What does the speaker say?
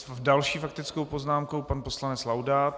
S další faktickou poznámkou pan poslanec Laudát.